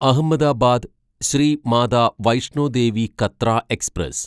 Ahmedabad Shrimata Vaishno Devi Katra express